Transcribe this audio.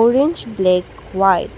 Orange black white.